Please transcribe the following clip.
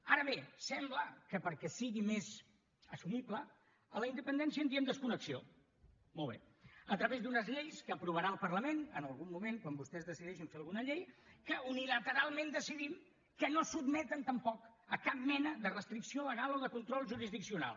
ara bé sembla que perquè sigui més assumible de la independència en diem desconnexió molt bé a través d’unes lleis que aprovarà el parlament en algun moment quan vostès decideixin fer alguna llei que unilateralment decidim que no sotmeten tampoc a cap mena de restricció legal o de control jurisdiccional